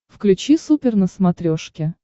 включи супер на смотрешке